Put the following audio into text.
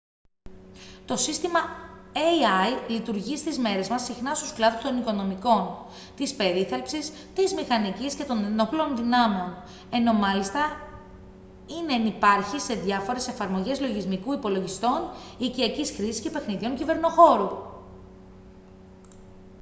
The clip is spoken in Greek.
το σύστημα ai λειτουργεί στις μέρες μας συχνά στους κλάδους των οικονομικών της περίθαλψης της μηχανικής και των ενόπλων δυνάμεων ενώ μάλιστα είναι ενυπάρχει σε διάφορες εφαρμογές λογισμικού υπολογιστών οικιακής χρήσης και παιχνιδιών κυβερνοχώρου